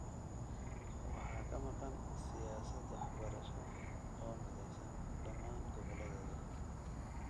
waxaa ka maqan siyaasad waxbarasho oo mideysan dhammaan goboladeeda.